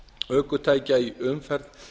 ökutækja í umferð